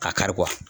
Ka kari